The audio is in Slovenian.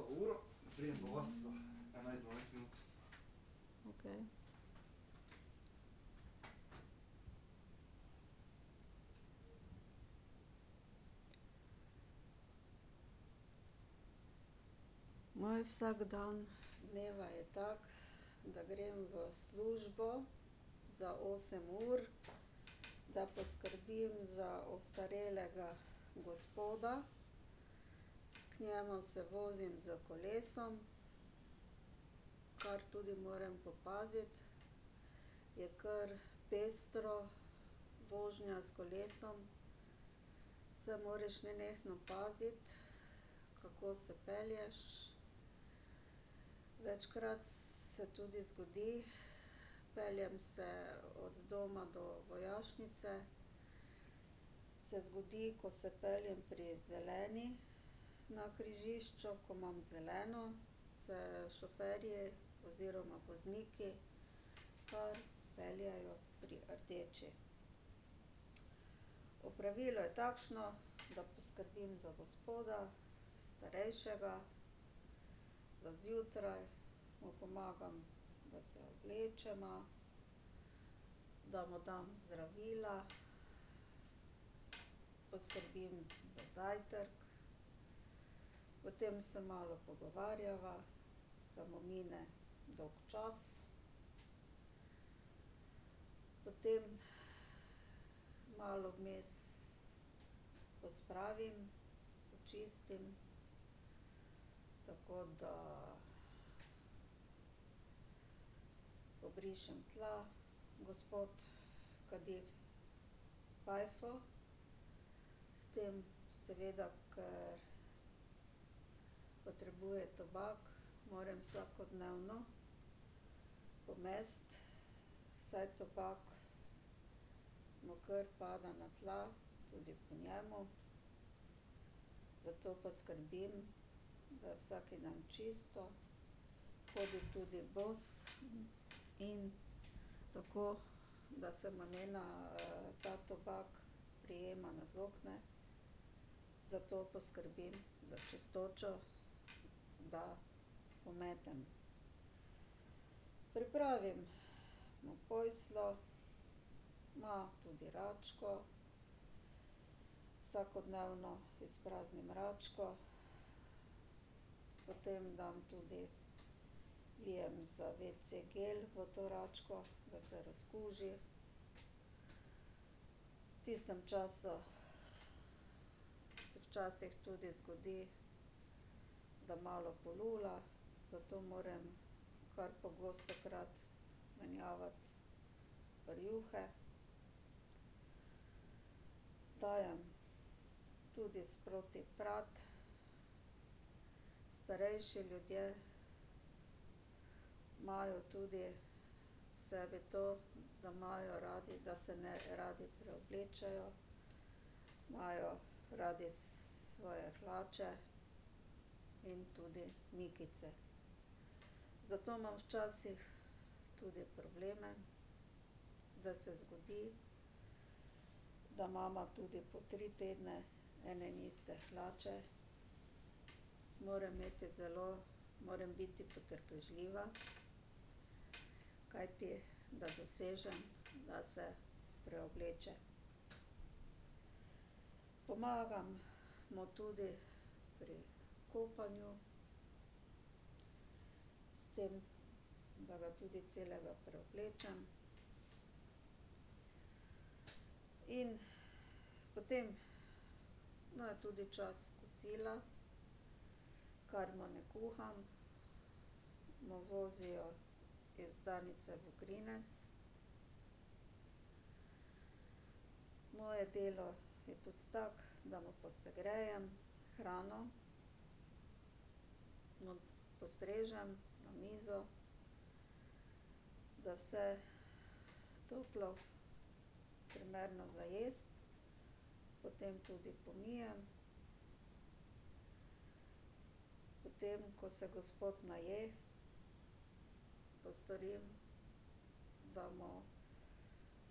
Okej. Moj vsakdan dneva je tak, da grem v službo za osem ur, da poskrbim za ostarelega gospoda. K njemu se vozim s kolesom, kar tudi moram popaziti, je kar pestro, vožnja s kolesom. Se moraš nenehno paziti, kako se pelješ. Večkrat se tudi zgodi, peljem se od doma do vojašnice, se zgodi, ko se peljem pri zeleni na križišču, ko imam zeleno, se šoferji oziroma vozniki kar peljejo pri rdeči. Opravilo je takšno, da poskrbim za gospoda, starejšega. Za zjutraj mu pomagam, da se oblečeva, da mu dam zdravila. Poskrbim za zajtrk, potem se malo pogovarjava, da mu mine dolgčas. Potem malo vmes pospravim, počistim, tako da ... Pobrišem tla, gospod kadi fajfo, s tem seveda, ker potrebuje tobak, moram vsakodnevno pomesti, saj tobak mu kar pada na tla, tudi po njem, zato pa skrbim, da je vsak dan čisto. Hodi tudi bos in tako da se mu ne ta tobak prijema na zokne, zato poskrbim za čistočo, da pometem. Pripravim mu posteljo. Ima tudi račko. Vsakodnevno izpraznim račko. Potem dam tudi, vlijem za wc gel v to račko, da se razkuži. V tistem času se včasih tudi zgodi, da malo polula, zato moram kar pogostokrat menjavati rjuhe. Dajem tudi sproti prati. Starejši ljudje imajo tudi v sebi to, da imajo radi, da se ne radi preoblečejo. Imajo radi svoje hlače in tudi mikice. Zato imam včasih tudi probleme, da se zbudi, da imava tudi po tri tedne ene in iste hlače. Moram imeti zelo, moram biti potrpežljiva, kajti da dosežem, da se preobleče. Pomagam mu tudi pri kopanju. S tem, da ga tudi celega preoblečem. In potem, no, je tudi čas kosila, kar mu ne kuham, mu vozijo iz Danice Vogrinec. Moje delo je tudi tako, da mu posegrejem hrano. Mu postrežem na mizo. Da je vse toplo, primerno za jesti. Potem tudi pomijem. Potem, ko se gospod naje, postorim, da mu